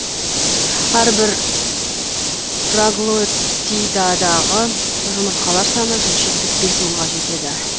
әрбір проглотидадағы жұмыртқалар саны жүз жетпіс бес мыңға жетеді